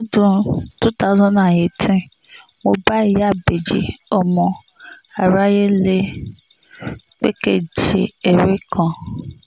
lọ́dún two thousand and eighteen mo bá ìyáábèjì ọmọ aráyé le pẹ́kẹ́ẹ̀jì ère kan